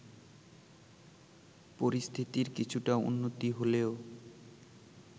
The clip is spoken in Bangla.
পরিস্থিতির কিছুটা উন্নতি হলেও